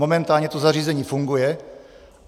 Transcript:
Momentálně to zařízení funguje.